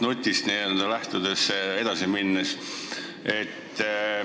Küsin edasi Mart Nuti küsimusest lähtudes.